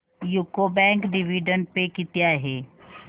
UCO bank dividend pay किती आहे